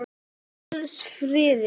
Hvíldu í Guðs friði.